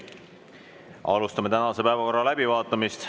Alustame tänase päevakorra läbivaatamist.